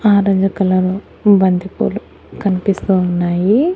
Orange colour బంతిపూలు కనిపిస్తూ ఉన్నాయి.